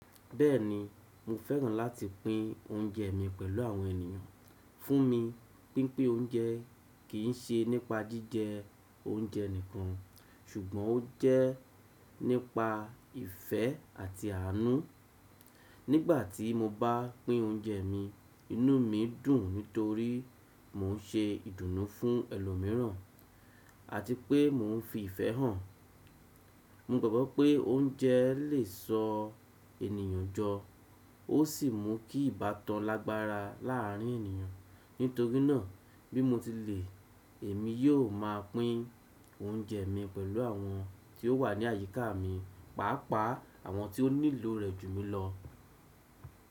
Bẹ́ẹ̀ni, mo fẹ́ràn láti pín oúnjẹ mi pẹ̀lú àwọn ènìyàn. Fún mi, pínpín oúnjẹ kì í ṣe nípa jíjẹ oúnjẹ nìkan, ṣùgbọ́n ó jẹ́ nípa ìfẹ́ àti àánú. Nígbà tí mo bá pín oúnjẹ mi, inú mi dùn nítorí mo n ṣe ìdùnnú fún ẹlòmíràn àti pé mò ń fi ìfẹ́ hàn. Mo gbagbọ́ pé oúnjẹ lè sọ ènìyàn jọ ó sì mú kí ìbátan lágbára láàrin ènìyàn. Nítorí náà, bí mo ti lè, èmi yóò máa pín oúnjẹ mi pẹ̀lú àwọn tí ó wà ní àyíká mi, pàápàá àwọn tí ó nílò rẹ̀ jù mí lọ.